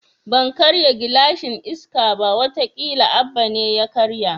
Ban karya gilashin Iska ba, wata kila Abba ne ya karya